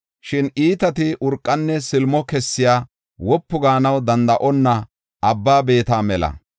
Shin iitati urqanne silimo kessiya, wopu gaanaw danda7onna abba beeta mela.